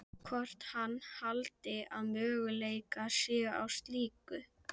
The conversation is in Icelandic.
Hann leit í áttina að klósettunum.